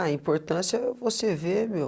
A importância é você ver, meu.